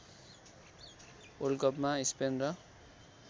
वल्डकपमा Spain र